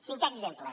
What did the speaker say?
cinquè exemple